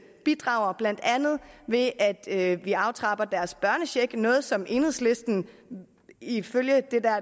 bidrager blandt andet ved at vi aftrapper deres børnecheck noget som enhedslisten ifølge